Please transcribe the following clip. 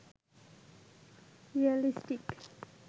realistic